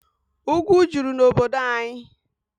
Ugwu juru n'obodo anyị.